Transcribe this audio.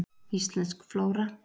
Íslensk flóra.